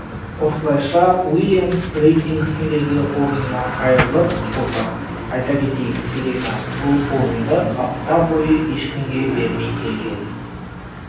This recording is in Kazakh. осылайша уильямс рейтингісіндегі орынынан айырылып отыр айта кетейік серена бұл орынды апта бойы ешкімге бермей келген